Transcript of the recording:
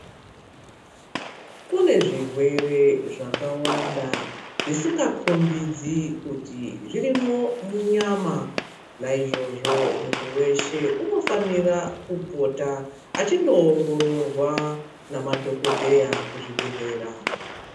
Kune zvirwere zvakawanda zvisinga kombidzi kuti zvirimwo munyama. Naizvozvo muntu veshe unofanira kupota vachindoongorwa ngemadhogodheya kuchibhedhleya.